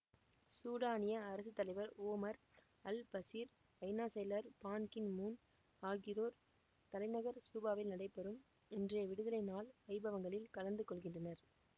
சூடானிய அரசு தலைவர் Omar al Bashir ஐநா செயலர் பான் கி மூன் ஆகியோர் தலைநகர் சூபாவில் நடைபெறும் இன்றைய விடுதலை நாள் வைபவங்களில் கலந்து கொள்கின்றனர்